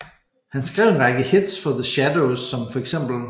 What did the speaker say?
Han skrev en række hits for The Shadows som feks